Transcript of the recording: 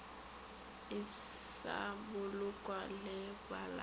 e sa bolokwa le balata